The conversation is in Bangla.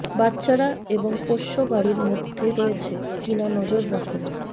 বাচ্চারা এবং পোষ্য বাড়ির মধ্যে রয়েছে কি না নজর রাখুন